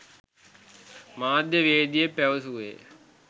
මාධ්‍යවේදියෙක් පැවසුවේය.